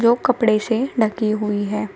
जो कपड़े से ढकी हुई है।